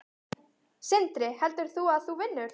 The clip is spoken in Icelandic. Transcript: Sindri: Heldur þú að þú vinnir?